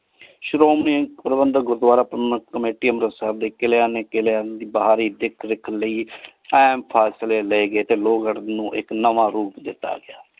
ਸ਼ੁਰੂ ਮੈਂ ਪਰਵਿੰਦਰ ਗੁਰਦਵਾਰਾ committee ਅੰਮ੍ਰਿਤਸਰ ਦੇ ਕਿਲਏ ਦੇ ਕੀਲੇ ਆਯ ਫਸਲੀ ਲਾਏ ਗਏ ਟੀ ਲੋਕ ਨੂ ਆਇਕ ਨਾਵਾ ਰੂਪ ਦਿਤਾ।